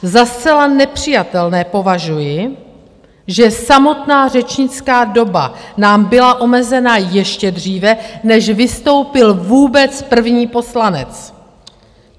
Za zcela nepřijatelné považuji, že samotná řečnická doba nám byla omezena ještě dříve, než vystoupil vůbec první poslanec.